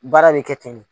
Baara bɛ kɛ ten de